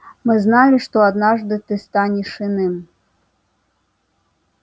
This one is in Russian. мы знали что однажды ты станешь иным